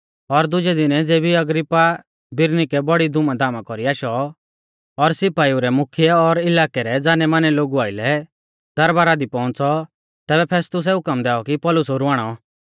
और दुजै दिनै ज़ेबी अग्रिप्पा बिरनीके बड़ी धूमधामा कौरी आशौ और सिपाइऊ रै मुख्यै और इलाकै रै ज़ानैमानै लोगु आइलै दरबारा दी पौउंच़ौ तैबै फेस्तुसै हुकम दैऔ कि पौलुस ओरु आणौ